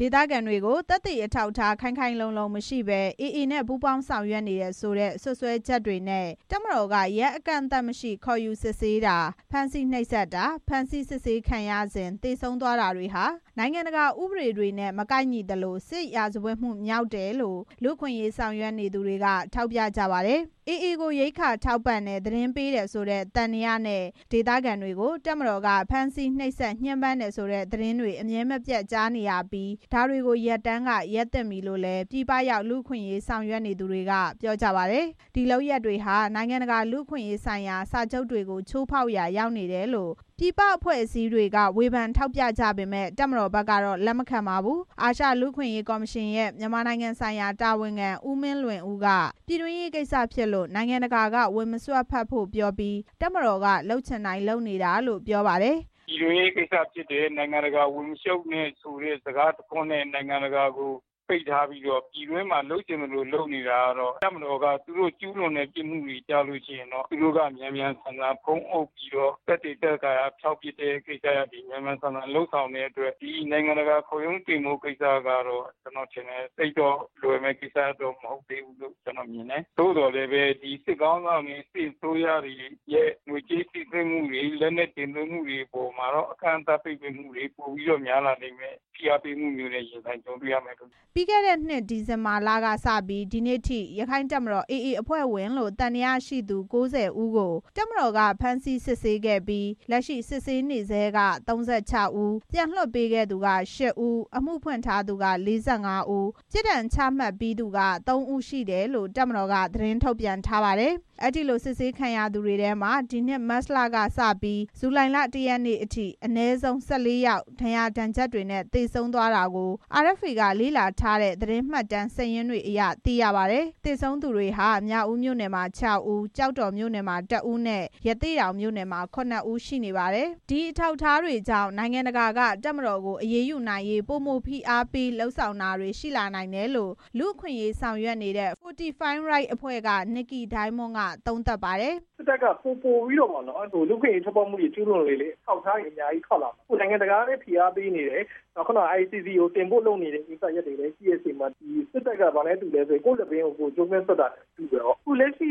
ဒေသခံတွေကို သက်သေအထောက်အထား ခိုင်ခိုင်လုံလုံမရှိဘဲ AA နဲ့ ပူးပေါင်းဆောင်ရွက်နေတယ်ဆိုတဲ့ စွပ်စွဲချက်နဲ့ တပ်မတော်က ရက်အကန့်အသတ်မရှိ ခေါ်ယူစစ်ဆေးတာ၊ ဖမ်းဆီးနှိပ်စက်တာ၊ ဖမ်းဆီးစစ်ဆေးခံရစဉ် သေဆုံးသွားခဲ့တာတွေဟာ နိုင်ငံတကာဥပဒေတွေနဲ့ မကိုက်ညီသလို စစ်ရာဇဝတ်မှု မြောက်တယ်လို့ လူ့အခွင့်အရေးဆောင်ရွက်နေသူတွေက ထောက်ပြကြပါတယ်။ AA ကို ရိက္ခာထောက်ပံ့တယ်၊ သတင်းပေးတယ်ဆိုတဲ့ သံသယနဲ့ ဒေသခံတွေကို တပ်မတော်က ဖမ်းဆီးနှိပ်စက်ညှဉ်းပန်းတယ်ဆိုတဲ့ သတင်းတွေ အမြဲမပြတ်ကြားနေရပြီး ဒါတွေကို ရပ်တန်းက ရပ်သင့်ပြီလို့လည်း ပြည်ပရောက် လူ့အခွင့်အရေးဆောင်ရွက်နေသူတွေက ပြောကြပါတယ်။ ဒီလုပ်ရပ်တွေဟာ နိုင်ငံတကာ လူ့အခွင့်အရေးဆိုင်ရာ စာချုပ်တွေကို ချိုးဖောက်ရာ ရောက်တယ်လို့ ပြည်ပအဖွဲ့အစည်းတွေက ဝေဖန်ထောက်ပြကြပေမယ့် တပ်မတော်ကတော့ လက်မခံပါဘူး။ အာရှလူ့အခွင့်အရေးကော်မရှင်ရဲ့ မြန်မာနိုင်ငံဆိုင်ရာတာဝန်ခံ ဦးမင်းလွင်ဦး က - ပြည်တွင်းရေးကိစ္စဖြစ်လို့ နိုင်ငံတကာက ဝင်မစွက်ဖက်ဖို့ပြောပြီး တပ်မတော်က လုပ်ချင်တိုင်း လုပ်နေတယ်လို့ ပြောပါတယ်။ "ပြည်တွင်းရေးကိစ္စဖြစ်တယ်။ နိုင်ငံတကာဝင်မရှုပ်နဲ့ဆိုတဲ့ စကားတစ်ခွန်းနဲ့ နိုင်ငံတကာကို ပိတ်ထားပြီး ပြည်တွင်းမှာ လုပ်ချင်သလို လုပ်နေတာကတော့ တပ်မတော်က သူတို့ကျူးလွန်တဲ့အမှုတွေကျတော့ မြန်မြန်ဆန်ဆန် ဖုံးအုပ်ပြီးတော့ သက်သေဖျောက်ပစ်တဲ့ ကိစ္စရပ်တွေ မြန်မြန်ဆန်ဆန်လုပ်ဆောင်တဲ့အတွက် နိုင်ငံတကာခုံရုံးတင်မယ့် ကိစ္စကတော့ သိပ်ပြီးတော့ လွယ်မယ့်ကိစ္စမဟုတ်သေးဘူးလို့ ကျနော်မြင်တယ်။ သို့ပေမယ့် စစ်ခေါင်းဆောင်တွေရဲ့စစ်အစိုးရတွေရဲ့ ငွေကြေးနဲ့ လက်နက်တင်သွင်းမှုတွေမှာ ပိတ်ပင်မှုတွေ ဖိအားပေးမှုတွေနဲ့ ပိုပြီးတော့ ကြုံလာရလိမ့်မယ်" ပြီးခဲ့တဲ့ ဒီဇင်ဘာလကစပြီး ဒီနေ့အထိ ရက္ခိုင့်တပ်တော် AA အဖွဲ့ဝင်လို့ သံသယရှိသူ ၉၀ ဦးကို တပ်မတော်က ဖမ်းဆီးစစ်ဆေးခဲ့တာရှိပြီး၊ လက်ရှိစစ်ဆေးနေဆဲ ၃၆ ဦး၊ ပြန်လွှတ်ပေးခဲ့သူက ၈ ဦး၊ အမှုဖွင့်ထားသူ ၄၅ ဦး၊ ပြစ်ဒဏ်ချမှတ်ပြီးသူ ၃ ဦးရှိတယ်လို့ တပ်မတော်က သတင်းထုတ်ပြန်ထားပါတယ်။ အဲဒီလိုစစ်ဆေးခံရသူတွေထဲမှာ၊ ဒီနှစ် မတ်လကစပြီး၊ ဇူလိုင်လ ၁ရက်နေ့အထိ အနည်းဆုံး (၁၄) ယောက် ဒဏ်ရာဒဏ်ချက်တွေနဲ့ သေဆုံးသွားတာကို RFA က လေ့လာထားတဲ့ သတင်းမှတ်တမ်းစာရင်းတွေအရ သိရပါတယ်။ သေဆုံးသူတွေဟာ မြောက်ဦးမြို့နယ်မှာ ခြောက်ဦး၊ ကျောက်တော်မြို့နယ်မှာ တစ်ဦးနဲ့ ရသေ့တောင်မြို့နယ်မှာ ခုနှစ်ဦး ရှိနေပါတယ်။ ဒီအထောက်အထားတွေကြောင့် နိုင်ငံတကာက တပ်မတော်ကို အရေးယူနိုင်ရေး ပိုမိုဖိအားပေး လုပ်ဆောင်တာတွေရှိလာနိုင်တယ်လို့ လူ့အခွင့်အရေးဆောင်ရွက်နေတဲ့ Fortify Rights အဖွဲ့က နစ်ကီဒိုင်းမွန်း က သုံးသပ်ပါတယ်။ "စစ်တပ်က လူ့အခွင့်ရေးချိုးဖောက်မှုတွေ ကျူးလွန်လေလေ အထောက်အထားတွေ ပိုပြီးတော့ထွက်လာမယ်။ နိုင်ငံတကာကလည်း ဖိအားပေးနေတယ်။ ICC တင်ဖို့လည်း လုပ်နေတဲ့အချိန်မှာ စစ်တပ်က ကိုယ့်လည်ပင်းကို ကိုယ်ကြိုးကွင်းစွပ်သလို ဖြစ်နေတ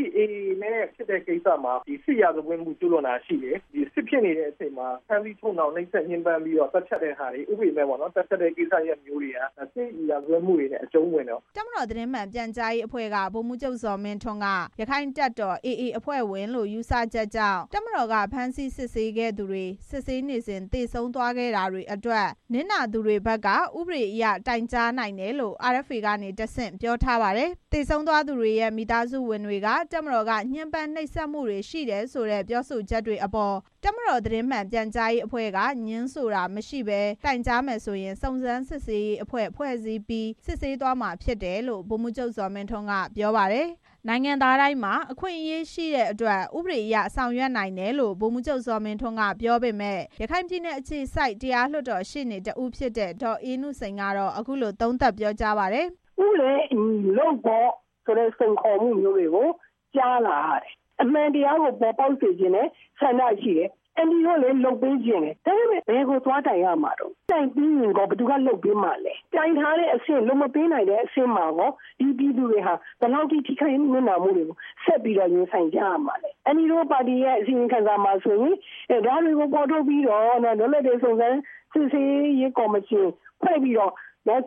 ယ်။ AA နဲ့ ဖြစ်တဲ့ကိစ္စမှာ စစ်ရာဇဝတ်မှုကျူးလွန်တာရှိတယ်။ စစ်ဖြစ်နေချိန်မှာ ဖမ်းဆီးချုပ်နှောင်နှိပ်စက်ပြီးတော့ သတ်ဖြတ်တာတွေ ဥပဒေမဲ့သတ်ဖြတ်တာတွေက စစ်ရာဇတ်မှုတွေနဲ့ အကျုံံးဝင်တယ်" တပ်မတော်သတင်းမှန်ပြန်ကြားရေးအဖွဲ့က ဗိုလ်မှူးချုပ် ဇော်မင်းထွန်းက ရက္ခိုင့်တပ်တော် AA အဖွဲ့ဝင်လို့ ယူဆချက်ကြောင့် တပ်မတော်က ဖမ်းဆီးစစ်ဆေးခဲ့သူတွေ စစ်ဆေးနေစဉ် သေဆုံးသွားခဲ့တာတွေအတွက် နစ်နာသူတွေဘက်က ဥပဒေအရ တိုင်ကြားနိုင်တယ်လို့ RFA ကတဆင့် ပြောထားပါတယ်။ သေဆုံးသွားသူတွေရဲ့ မိသားစုဝင်တွေက တပ်မတော်က ညှင်းပန်းနှိပ်စက်မှုတွေ ရှိတယ်ဆိုတဲ့ ပြောဆိုချက်တွေအပေါ် တပ်မတော်သတင်းမှန်ပြန်ကြားရေးအဖွဲ့ဘက်က ငြင်းဆိုတာမရှိဘဲ တိုင်ကြားမယ်ဆိုရင် စုံစမ်းစစ်ဆေးရေးအဖွဲ့ဖွဲ့စည်းပြီး စစ်ဆေးသွားမှာ ဖြစ်တယ်လို့ ဗိုလ်မှူးချုပ် ဇော်မင်းထွန်းက ပြောပါတယ်။ နိုင်ငံသားတိုင်းမှာ အခွင့်အရေးရှိတဲ့အတွက် ဥပဒေအရ ဆောင်ရွက်နိုင်တယ်လို့ ဗိုလ်မှူးချုပ် ဇော်မင်းထွန်းက ပြောပေမယ့် ရခိုင်ပြည်နယ်အခြေစိုက် တရားလွှတ်တော်ရှေ့နေ တစ်ဦး ဖြစ်တဲ့ ဒေါ်အေးနုစိန်က အခုလို သုံးသပ်ပြောကြားပါတယ်။ "ဥပဒေနဲ့ အညီလုပ်ပေါ့ဆိုတဲ့ စိန်ခေါ်မှုမျိုးတွေကို ကြားလာရတယ်။ အမှန်တရားကို ပေါ်ပေါက်စေချင်တဲ့ ဆန္ဒရှိတယ်။ အန်တီတို့လည်း လုပ်ပေးချင်တယ်။ ဒါပေမဲ့ ဘယ်ကိုသွားတိုင်ရမှာလဲ။ တိုင်ပြီးရင်ရော ဘယ်သူက လုပ်ပေးမှာလဲ။ တိုင်ထားတဲ့အဆင့် လုပ်မပေးနိုင်တဲ့အဆင့်မှာကော ဒီပြည်သူတွေဟာ ဘယ်လောက်ထိ ထိခိုက်နစ်နာမှုတွေကို ရင်ဆိုင်ကြုံတွေ့ရမှာလဲ။ အန်တီတို့ပါတီရဲ့ အစီရင်ခံစာမှာ လွတ်လပ်တဲ့ စုံစမ်းစစ်ဆေးရေးကော်မရှင် ဖွဲ့ပြီး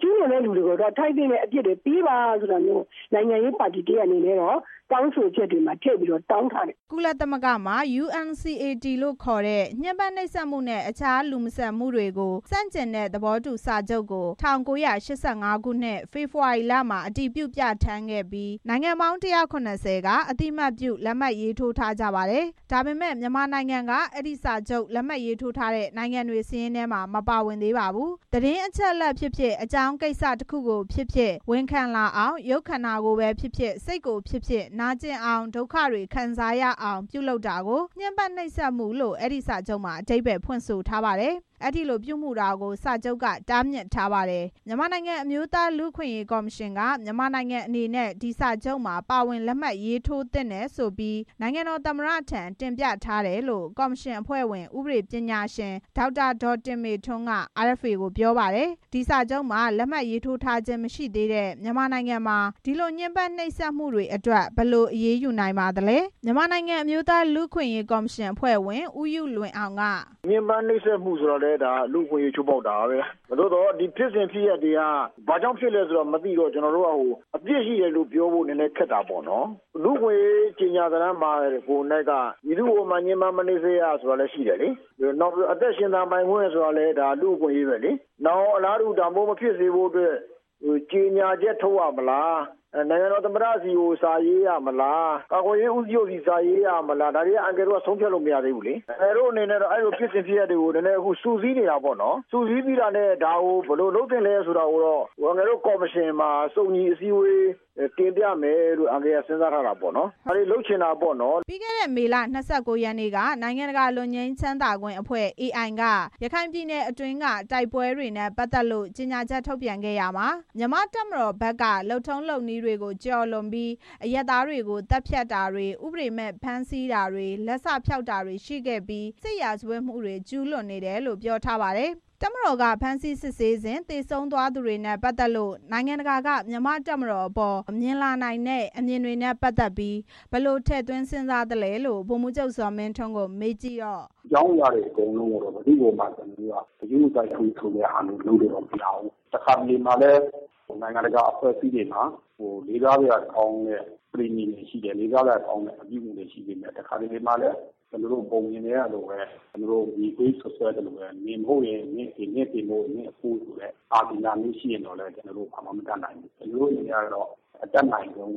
ကျူးလွန်သူတွေကို ထိုက်သင့်တဲ့ အပြစ်ပေးပါလို့ တောင်းဆိုထားတယ်" ကုလသမဂ္ဂမှာ UNCAT လို့အတိုကောက်ခေါ်တဲ့ United Nations Convention against Torture ညှင်းပမ်းနှိပ်စက်မှုနဲ့ အခြားလူမဆန်မှုတွေကို ဆန့်ကျင်တဲ့သဘောတူစာချုပ်ကို ၁၉၈၅ ခုနှစ် ဖေဖေါ်ဝါရီလမှာ အတည်ပြုပြဌာန်းခဲ့ပြီး၊ နိုင်ငံပေါင်း ၁၇၀ က အသိအမှတ်ပြုလက်မှတ်ထိုးထားကြပါတယ်။ ဒါပေမဲ့ မြန်မာနိုင်ငံကတော့ အဲဒီစာချုပ်ကို လက်မှတ်ထိုးထားတဲ့ နိုင်ငံတွေရဲ့စာရင်းမှာ မတွေ့ရပါဘူး။ သတင်းအချက်အလက်ဖြစ်ဖြစ်၊ အကြောင်းကိစ္စတစ်ခုခုကိုဖြစ်ဖြစ် ဝန်ခံလာအောင် ရုပ်ခန္ဒာကိုယ်ကို ပဲဖြစ်ဖြစ်၊ စိတ်ကိုပဲဖြစ်ဖြစ် နာကျင်အောင်၊ ဒုက္ခတွေခံစားရအောင် ပြုလုပ်တာကို ညှဉ်းပမ်းနှိပ်စက်မှုလို့ အဲဒီစာချုပ်မှာ အဓိပ္ပါယ်ဖွင့်ဆိုထားပါတယ်။ အဲဒီလိုပြုမူတာကို စာချုပ်က တားမြစ်ထားပါတယ်။ မြန်မာနိုင်ငံအမျိုးသားလူ့အခွင့်အရေး ကော်မရှင်က မြန်မာနိုင်ငံအနေနဲ့ ဒီစာချုပ်မှာ ပါဝင်လက်မှတ်ရေးထိုးသင့်တယ်ဆိုပြီး သမ္မတထံ တင်ပြထားတယ်လို့ ကော်မရှင် အဖွဲ့ဝင် ဥပဒေပညာရှင် ဒေါက်တာ တင်မေထွန်းက RFA ကို ပြောပါတယ်။ ဒီစာချုပ်မှာ လက်မှတ်ရေးထိုးထားခြင်းမရှိသေးတဲ့ မြန်မာနိုင်ငံမှာ ဒီလို ညှဉ်းပမ်းနှိပ်စက်မှုတွေအတွက် ဘယ်လိုအရေးယူနိုင်ပါလဲ။ မြန်မာနိုင်ငံ အမျိုးသားလူ့အခွင့်အရေး ကော်မရှင် အဖွဲ့ဝင် ဦးယုလွင်အောင်က - "ညှဉ်းပန်းနှိပ်စက်မှုဆိုတာလည်း လူ့အခွင့်အရေးချိုးဖောက်တာပဲ။ ဒါပေမဲ့ ဒီဖြစ်စဉ်ဖြစ်ရပ်တွေက ဘာကြောင့် ဖြစ်တယ်ဆိုတာမသိတော့ အပြစ်ရှိတယ်လို့ ပြောဖို့ နည်းနည်းခက်တာပေါ့။ လူ့အခွင့်အရေး ကြေညာစာတမ်းမှာကို က မည်သူ့ကိုမှ ညှဉ်းပန်းမနှိပ်စက်ရဆိုတာလည်း ရှိတယ်လေ။ နောက်ပြီးတော့ အသက်ရှင်သန်ပိုင်ခွင့်ဆိုတာကလည်း လူ့အခွင့်အရေးပဲလေ။ နောင်အလားတူ ဒါမျိုးမဖြစ်စေဖို့အတွက် ကြေညာချက်ထုတ်ရမလား ၊ နိုင်ငံတော် သမ္မတဆီကို စာရေးရမလား၊ ကာကွယ်ရေးဦးစီးချုပ်ဆီ စာရေးရမလား ဒါတွေက အန်ကယ်တို့က ဆုံးဖြတ်လို့မရသေးဘူး။ အန်ကယ်တို့ တော့ အဲ့ဒီလိုဖြစ်စဉ်ဖြစ်ရပ်တွေကို အခု စုစည်းနေတာပေါ့နော်။ ဒါကို ဘယ်လိုလုပ်သင့်လဲဆိုတာကိုတော့ ကော်မရှင်မှာ စုံညီ အစည်းအဝေးတင်ပြမယ်လို့ အန်ကယ်က စဉ်းစားထားတာပေါ့နော်" ပြီးခဲ့တဲ့ မေလ ၂၉ ရက်နေ့က နိုင်ငံတကာလွတ်ငြိမ်းချမ်းသာခွင့်အဖွဲ့ AI က ရခိုင်ပြည်နယ်အတွင်းက တိုက်ပွဲတွေနဲ့ ပတ်သက်လို့ ကြေညာချက်ထုတ်ပြန်ခဲ့ရာမှာ မြန်မာ့တပ်မတော်ဘက်က လုပ်ထုံး လုပ်နည်းတွေကို ကျော်လွန်ပြီး အရပ်သားတွေကို သတ်ဖြတ်တာတွေ၊ ဥပဒေမဲ့ဖမ်းဆီးတာတွေ၊ လက်စ ဖျောက်တာတွေရှိခဲ့ပြီး စစ်ရာဇဝတ်မှုတွေ ကျုးလွန်နေတယ်လို့ ပြောထားပါတယ်။ တပ်မတော်က ဖမ်းဆီးစစ်ဆေးစဉ် သေဆုံးသွားသူတွေနဲ့ပတ်သက်လို့ နိုင်ငံတကာက မြန်မာ့တပ်မတော်ပေါ် မြင်လာနိုင်တဲ့ အမြင်တွေအပေါ် ဘယ်လို့ထည့်သွင်းစဉ်းစားလဲလို့ ဗိုလ်မှူးချုပ် ဇော်မင်းထွန်းကို မေးကြည့်တော့ -- "အကြောင်းအရာတွေ အကုန်လုံးကို ကျနော်တို့က ဘယ်သူ့မှ ဂရုမစိုက်ဘူးဆိုတာ လုပ်လို့မရဘူး။ တစ်ခါတလေမှာလည်း နိုင်ငံတကာ အဖွဲ့အစည်းတွေမှာ လေးစားစရာကောင်းတဲ့ အပြုအမှုတွေရှိတယ်။ တစ်ခါတလေမှာတော့ ပုံပြင်ထဲက မြေခွေးစွပ်စွဲသလိုပဲ နင်မဟုတ်ရင် နင်အဖေ နင်အဖေမဟုတ်ရင် နင့်အဘိုးဆိုတဲ့ အာသီသမျိုးရှိရင်တော့ ကျနော်တို့ ဘာမှ မတတ်နိုင်ဘူး။ ကျနော်တို့ အနေနဲ့ အတတ်နိုင်ဆုံး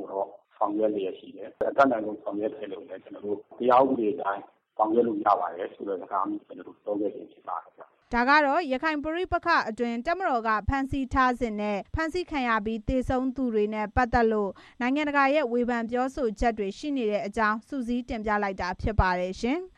ဆောင်ရွက်နေတယ်။ အတတ်နိုင်ဆုံးဆောင်ရွက်နေတဲ့အတွက် ဥပဒေအတိုင်း ဆောင်ရွက်နိုင်တယ်ဆိုတဲ့ စကားမျိုးပြောတာဖြစ်တယ်" ဒါကတော့ ရခိုင်ပဋိပက္ခအတွင်း တပ်မတော် ဖမ်းဆီးထားစဉ်နဲ့ ဖမ်းဆီးခံရပြီး သေဆုံးခဲ့သူတွေနဲ့ ပတ်သက်လို့ နိုင်ငံတကာက ဝေဖန်ပြောဆိုချက်တွေ ရှိနေတဲ့အကြောင်း စုစည်းတင်ပြလိုက်တာဖြစ်ပါတယ်ရှင်။